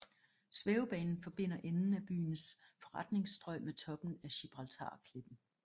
Svævebanen forbinder enden af byens forretningsstrøg med toppen af Gibraltarklippen